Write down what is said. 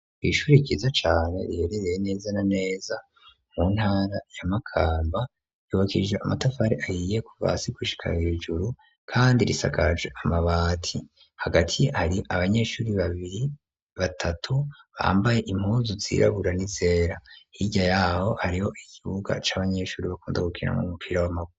kw'ishuri ryiza cane riherereye neza na neza mu ntara ya Makamba ryubakishije amatafari ahiye kuva hasi gushika hejuru kandi risakaje amabati hagati hari abanyeshuri babiri batatu bambaye impuzu zirabura n'izera hirya yaho hariho ikibuga c'abanyeshuri bakunda gukiniramwo umupira w'amaguru.